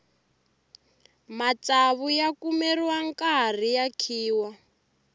matsavu ya kumeriwa nkarhi ya khiwa